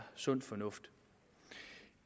sund fornuft